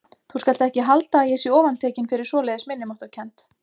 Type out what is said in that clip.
Þú skalt ekki halda að ég sé ofantekinn fyrir svoleiðis minnimáttarkennd.